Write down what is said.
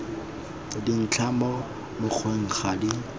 dintlha mo mokgweng ga di